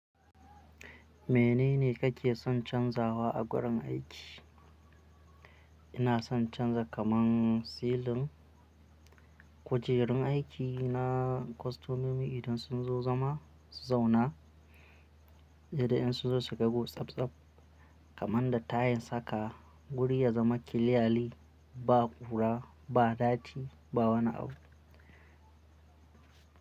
Menene kake son canzawa a gurin aiki? Ina son canza kaman silin, kujerun aiki na kostomomi idan sun zo zama, zauna, yadda in sun zo su gagu tsabtsab kaman da tayils haka, guri ya zama kiliyali ba ƙura, ba dati, ba wani abu.